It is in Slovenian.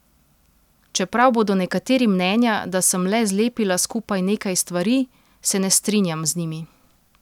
Čeprav bodo nekateri mnenja, da sem le zlepila skupaj nekaj stvari, se ne strinjam z njimi.